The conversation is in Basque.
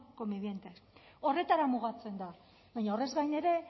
convivientes horretara mugatzen da baina horrez gain ere